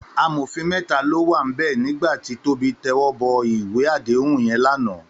Àmófín mètá ló wá n bè nigbá ti Tobi tèwòbò iwé àdéhún yèn làná